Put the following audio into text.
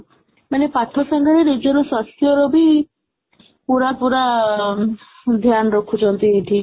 ମାନେ ପାଠ ସାଙ୍ଗରେ ନିଜ ସ୍ୱାସ୍ଥ୍ୟର ବି ପୁରା ପୁରା ରଖୁଛନ୍ତି ଏଠି